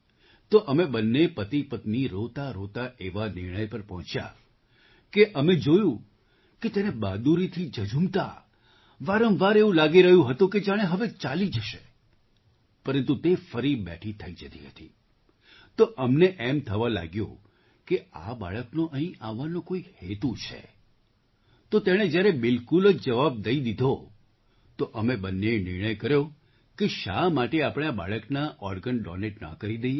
તો અમે બંને પતિપત્ની રોતાંરોતાં એવા નિર્ણય પર પહોંચ્યા કે અમે જોયું હતું તેને બહાદુરીથી ઝઝૂમતા વારંવાર એવું લાગી રહ્યુ હતું કે જાણે હવે ચાલી જશે પરંતુ તે ફરી બેઠી થઈ જતી હતી તો અમને એવું લાગ્યું કે આ બાળકનો અહીં આવવાનો કોઈ હેતુ છે તો તેણે જ્યારે બિલકુલ જ જવાબ દઈ દીધો તો અમે બંનેએ નિર્ણય કર્યો કે શા માટે આપણે આ બાળકના ઑર્ગન ડૉનેટ ન કરી દઈએ